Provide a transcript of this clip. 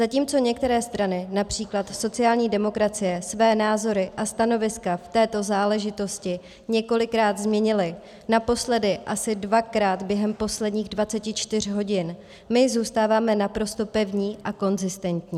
Zatímco některé strany, například sociální demokracie, své názory a stanoviska v této záležitosti několikrát změnily, naposledy asi dvakrát během posledních 24 hodin, my zůstáváme naprosto pevní a konzistentní.